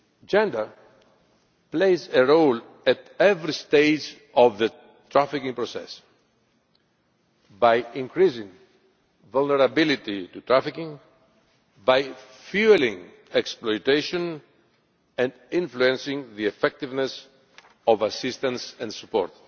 Gender plays a role at every stage of the trafficking process by increasing vulnerability to trafficking, by fuelling exploitation and influencing the effectiveness of assistance and support.